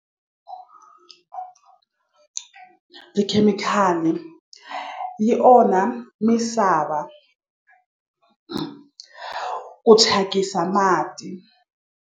Tikhemikhali yi onha misava ku thyakisa mati.